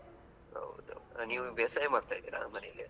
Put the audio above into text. ಹೌದು ನೀವು ಬೇಸಾಯ ಮಾಡ್ತಾ ಇದ್ದೀರಾ ಮನೆಗೆ.